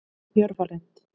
Jörfalind